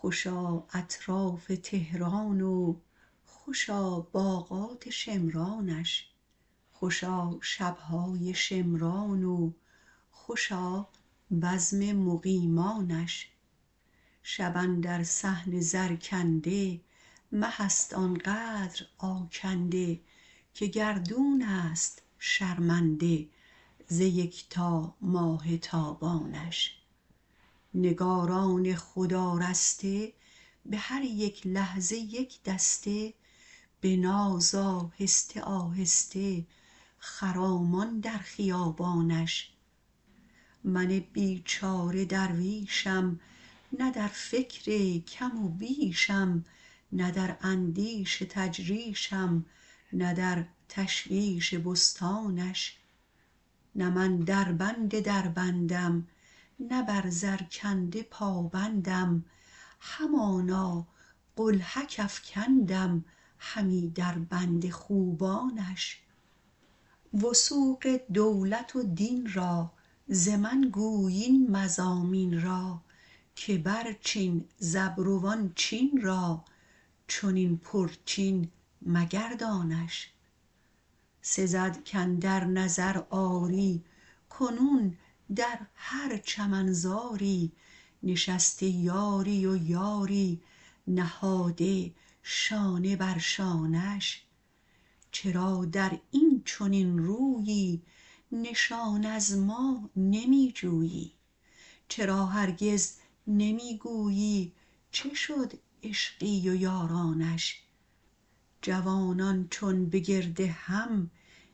خوشا اطراف تهران و خوشا باغات شمرانش خوشا شب های شمرانش و خوشا بزم مقیمانش شب اندر صحن زرکنده مه است آنقدر آکنده که گردون است شرمنده ز یکتا ماه تابانش نگاران خود آراسته به هر یک لحظه یک دسته به ناز آهسته آهسته خرامان در خیابانش من بیچاره درویشم نه در فکر کم و بیشم نه در اندیش تجریشم نه در تشویش بستانش نه من در بند دربندم نه بر زرکنده پابندم همانا قلهک افکندم همی در بند خوبانش وثوق دولت و دین را ز من گوی این مضامین را که برچین ز ابروان چین را چنین پرچین مگردانش سزد کاندر نظر آری کنون در هر چمنزاری نشسته یاری و یاری نهاده شانه بر شانش چرا در این چنین رویی نشان از ما نمی جویی چرا هرگز نمی گویی چه شد عشقی و یارانش جوانان چون بگردهم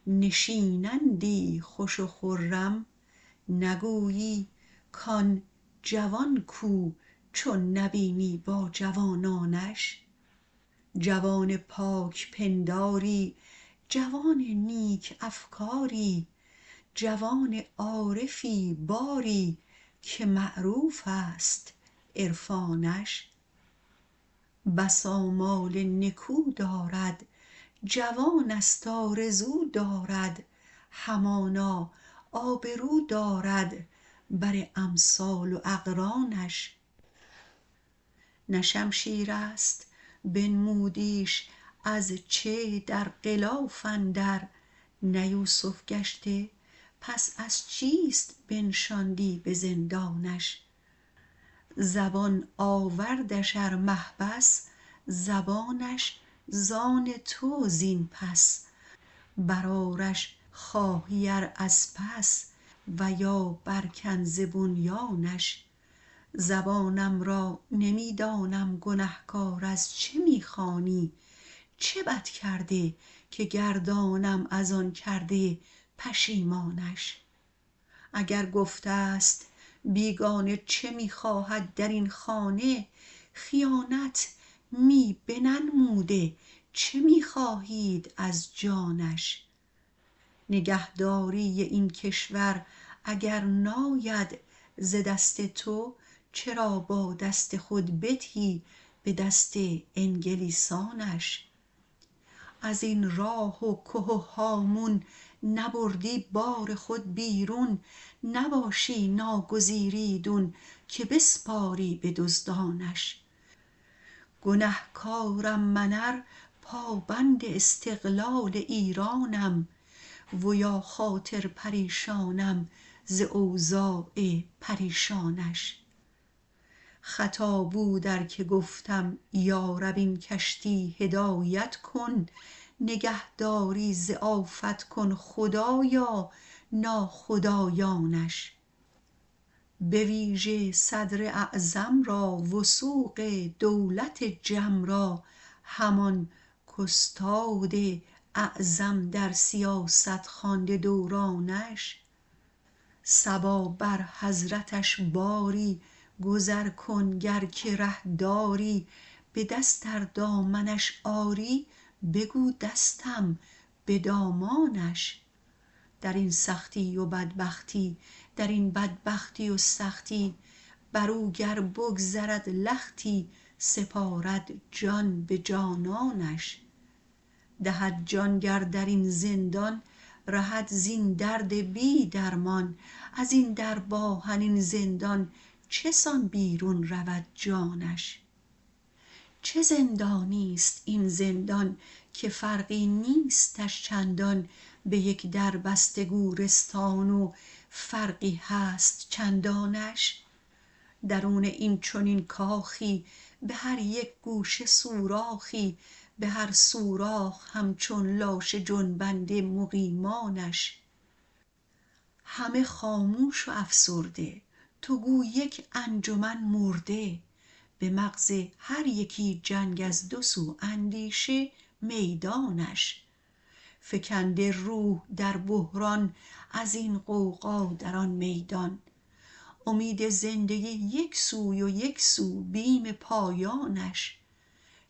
نشینندی خوش و خرم نگویی کآن جوان کو چون نبینی با جوانانش جوان پاک پنداری جوان نیک افکاری جوان عارفی باری که معروف است عرفانش بس آمال نکو دارد جوان است آرزو دارد همانا آبرو دارد بر امثال و اقرانش نه شمشیر است بنمودیش از چه در غلاف اندر نه یوسف گشته پس از چیست بنشاندی به زندانش زبان آوردش ار محبس زبانش ز آن تو زین پس بر آرش خواهی ار از پس و یا بر کن ز بنیانش زبانم را نمی دانم گنهکار از چه می خوانی چه بد کرده که گردانم از آن کرده پشیمانش اگر گفته ست بیگانه چه می خواهد در این خانه خیانت می نه بنموده چه می خواهید از جانش نگهداری این کشور اگر ناید ز دست تو چرا با دست خود بدهی به دست انگلیسانش این راه و که و هامون نبردی بار خود بیرون نباشی ناگزیر ایدون که بسپاری به دزدانش گنهکارم من ار پابند استقلال ایرانم و یا خاطر پریشانم ز اوضاع پریشانش خطا بود ار که گفتم یارب این کشتی هدایت کن نگهدارش ز آفت کن خدایا ناخدایانش به ویژه صدراعظم را وثوق دولت جم را همان کاستاد اعظم در سیاست خوانده دورانش صبا بر حضرتش باری گذر کن گر که ره داری به دست آر دامنش آری بگو دستم به دامانش درین سختی و بدبختی درین بدبختی و سختی برو گر بگذرد لختی سپارد جان به جانانش دهد جان گر در این زندان رهد زین درد بی درمان ازین درب آهنین زندان چسان بیرون رود جانش چه زندانیست این زندان که فرقی نیستش چندان به یک در بسته گورستان و فرقی هست چندانش درون این چنین کاخی به هر یک گوشه سوراخی به هر سوراخ همچون لاشه جنبنده مقیمانش همه خاموش و افسرده تو گو یک انجمن مرده به مغز هر یکی جنگ از دو سو اندیشه میدانش فکنده روح در بحران از این غوغا در آن میدان امید زندگی یک سوی و یک سو بیم پایانش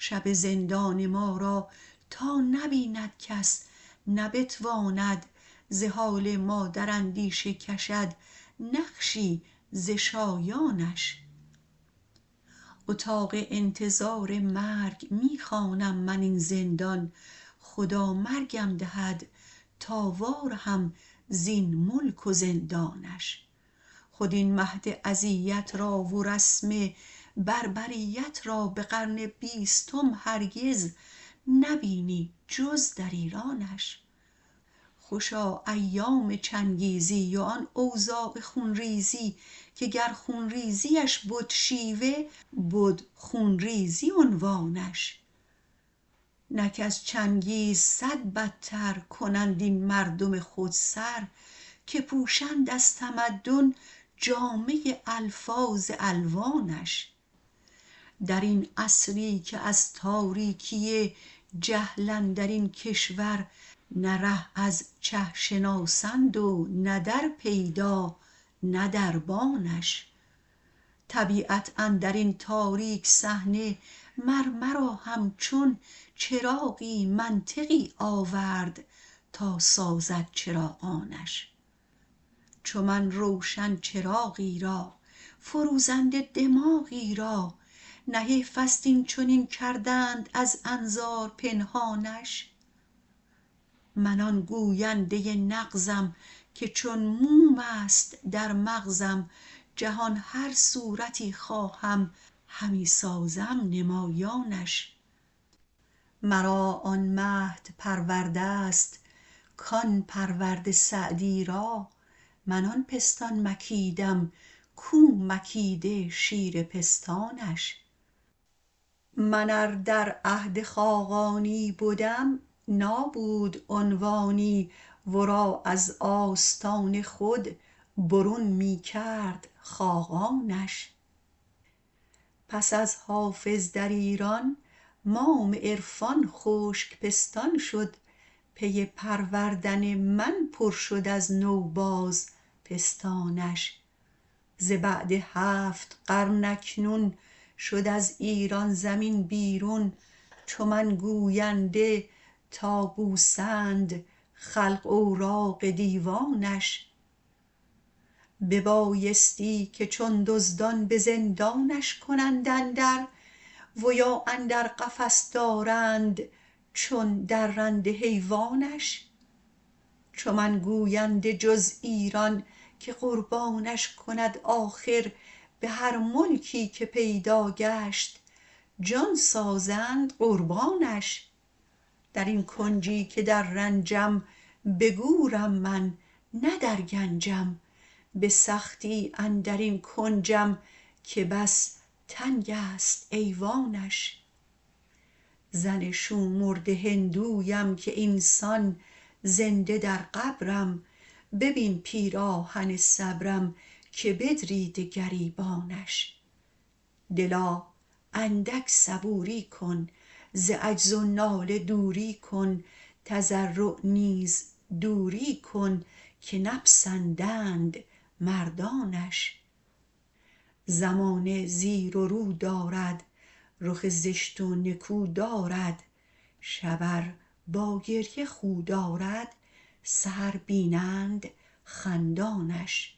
شب زندان ما را تا نبیند کس نه بتواند ز حال ما در اندیشه کشد نقشی ز شایانش اتاق انتظار مرگ می خوانم من این زندان خدا مرگم دهد تا وارهم این ملک و زندانش خود این مهد اذیت را و رسم بربریت را به قرن بیستم هرگز نه بینی جز در ایرانش خوشا ایام چنگیزی و آن اوضاع خونریزی که گر خونریزیش بد شیوه بد خونریزی عنوانش نک از چنگیز صد بدتر کنند این مردم خود سر که پوشند از تمدن جامه الفاظ الوانش در این عصری که از تاریکی جهل اندرین کشور نه ره از چه شناسند و نه در پیدا نه دربانش طبیعت اندرین تاریک صحنه مرمرا همچون چراغی منطقی آورد تا سازد چراغانش چون من روشن چراغی را فروزنده دماغی را نه حیف است این چنین کردند از انظار پنهانش من آن گوینده نغزم که چون موم است در مغزم جهان هر صورتی خواهم همی سازم نمایانش مرا آن مهد پروردست کان پرورده سعدی را من آن پستان مکیدم کو مکیده شیر پستانش من ار در عهد خاقانی بدم نابود عنوانی ورا از آستان خود برون می کرد خاقانش پس از حافظ در ایران مام عرفان خشک پستان شد پی پروردن من پر شد از نو باز پستانش ز بعد هفت قرن اکنون شد از ایران زمین بیرون چو من گوینده تا بوسند خلق اوراق دیوانش ببایستی که چون دزدان به زندانش کنند اندر و یا اندر قفس دارند چون درنده حیوانش چو من گوینده جز ایران که قربانش کند آخر به هر ملکی که پیدا گشت جان سازند قربانش درین کنجی که در رنجم به گورم من نه در گنجم به سختی اندرین کنجم که بس تنگ است ایوانش زن شومرده هندویم که اینسان زنده در قبرم ببین پیراهن صبرم که بدریده گریبانش دلا اندک صبوری کن ز عجز و ناله دوری کن تضرع نیز دوری کن که نپسندند مردانش زمانه زیر و رو دارد رخ زشت و نکو دارد شب ار با گریه خو دارد سحر بینند خندانش